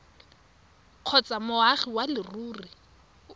kgotsa moagi wa leruri o